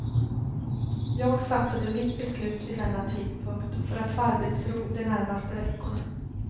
Jag fattade mitt beslut vid denna tidpunkt, för att få arbetsro de närmaste veckorna.